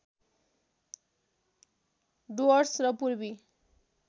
डुवर्स र पूर्वी